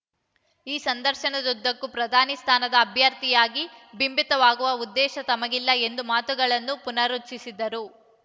ಈ ಸಂದರ್ಶನದುದ್ದಕ್ಕೂ ಪ್ರಧಾನಿ ಸ್ಥಾನದ ಅಭ್ಯರ್ಥಿಯಾಗಿ ಬಿಂಬಿತವಾಗುವ ಉದ್ದೇಶ ತಮಗಿಲ್ಲ ಎಂಬ ಮಾತುಗಳನ್ನು ಪುನರುಚ್ಛರಿಸಿದ್ದಾರೆ